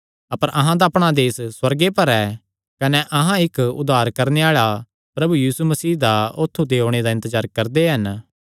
अपर अहां दा अपणा देस सुअर्गे पर ऐ कने अहां इक्क उद्धार करणे आल़ा प्रभु यीशु मसीह दा औत्थू ते ओणे दा इन्तजार करदे हन